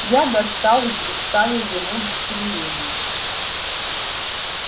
я достал и представил ему удостоверение